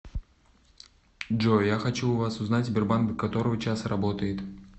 джой я хочу у вас узнать сбербанк до которого часа работает